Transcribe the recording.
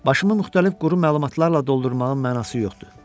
Başımı müxtəlif quru məlumatlarla doldurmağın mənası yoxdur.